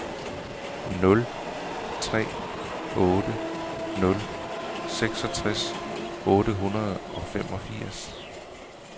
nul tre otte nul seksogtres otte hundrede og femogfirs